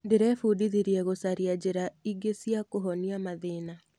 Ndĩrebundithirie gũcaria njĩra ingĩ cia kũhonia mathĩna.